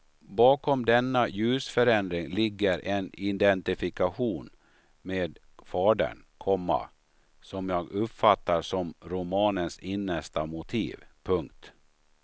Bakom denna ljusförändring ligger en identifikation med fadern, komma som jag uppfattar som romanens innersta motiv. punkt